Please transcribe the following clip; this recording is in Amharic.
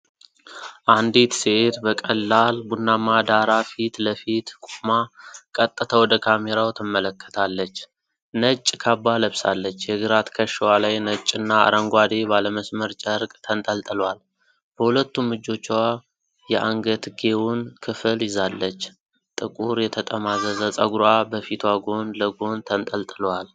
አንዲት ሴት በቀላል ቡናማ ዳራ ፊት ለፊት ቆማ ቀጥታ ወደ ካሜራው ትመለከታለች። ነጭ ካባ ለብሳለች፡፡ የግራ ትከሻዋ ላይ ነጭና አረንጓዴ ባለመስመር ጨርቅ ተንጠልጥሏል። በሁለቱም እጆቿ የአንገትጌውን ክፍል ይዛለች፤ ጥቁር የተጠማዘዘ ፀጉሯ በፊቷ ጎን ለጎን ተንጠልጥሏል።